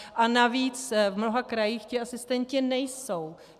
A navíc v mnoha krajích ti asistenti nejsou.